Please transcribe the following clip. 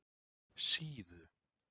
Síðu